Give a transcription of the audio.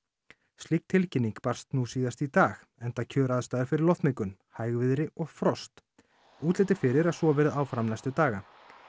slík tilkynning barst nú síðast í dag enda kjöraðstæður fyrir loftmengun hægviðri og frost útlit er fyrir að svo verði áfram næstu daga